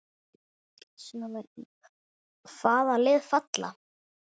Sjá einnig: Hvaða lið falla?